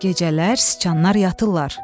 Gecələr sıçanlar yatırlar.